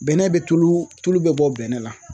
Bɛnɛ bɛ tulu, tulu bɛ bɔ bɛnɛ la